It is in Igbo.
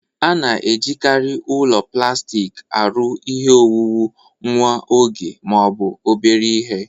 A na-ejikarị ụlọ plastik arụ ihe owuwu nwa oge ma ọ bụ obere ihe